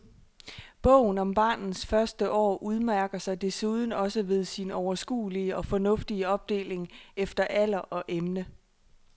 Bogen om barnets første år udmærker sig desuden også ved sin overskuelige og fornuftige opdeling efter alder og emne.